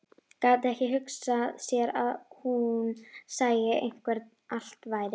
Gat ekki hugsað sér að hún sæi hvernig allt væri.